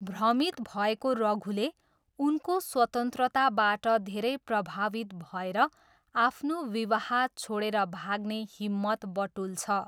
भ्रमित भएको रघुले, उनको स्वतन्त्रताबाट धेरै प्रभावित भएर आफ्नो विवाह छोडेर भाग्ने हिम्मत बटुल्छ।